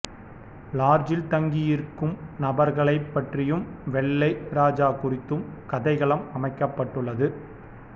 லாட்ஜில் தங்கியிருக்கும் நபர்களைப் பற்றியும் வெள்ளை ராஜா குறித்தும் கதைகளம் அமைக்கப்பட்டுள்ளது